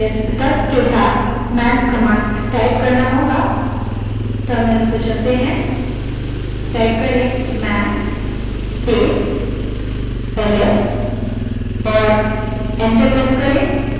ls तर्क के साथ man command type करें जो है type man space ls और enter दबायें